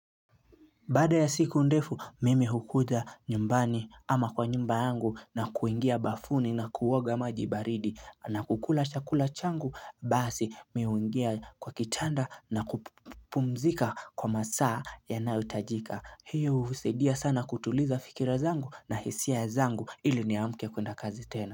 Baada ya siku ndefu mimi hukuja nyumbani ama kwa nyumba yangu na kuingia bafuni na kuoga maji baridi na kukula chakula changu basi mimi huingia kwa kitanda na kupumzika kwa masaa yanayohitajika. Hiyo husaidia sana kutuliza fikira zangu na hisia zangu ili niamke kwenda kazi tena.